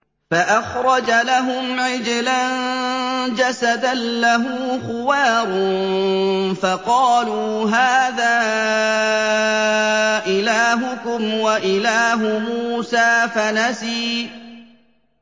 فَأَخْرَجَ لَهُمْ عِجْلًا جَسَدًا لَّهُ خُوَارٌ فَقَالُوا هَٰذَا إِلَٰهُكُمْ وَإِلَٰهُ مُوسَىٰ فَنَسِيَ